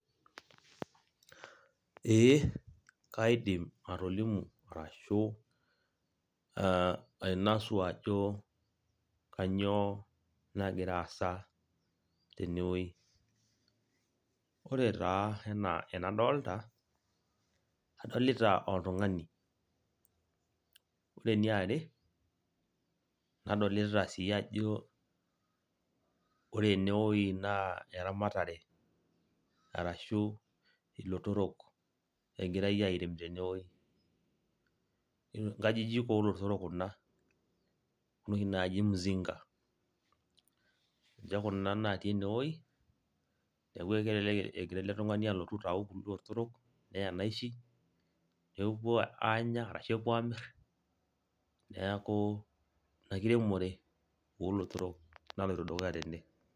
Ee, kaidim atolimu ashu ainasu ajo kanyioo nagira aasa tenewei. Ore taa enaa enadolta, adolita oltung'ani. Ore eniare, nadolita si ajo ore enewoi naa eramatare arashu ilotorok egirai airem tenewoi. Nkajijik olotorok kuna. Kuna oshi naaji mzinga. Ninche kuna natii enewoi, neeku kelelek egira ele tung'ani alotu aitau kulo otorok, nea naishi, nepuo aanya ashu epuo amir, neeku ina kiremore olotorok naloito dukuya tene.